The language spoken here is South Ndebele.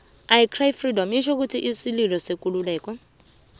i cry freedom itjho isililo sekululeko